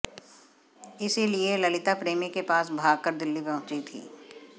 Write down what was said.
इसीलिए ललिता प्रेमी के पास भागकर दिल्ली पहुंची थी